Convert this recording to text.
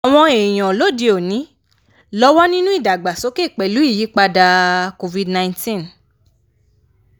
àwọn èèyàn lóde òní lọ́wọ́ nínú ìdàgbàsókè pẹ̀lú ìyípadà covid-nineteen.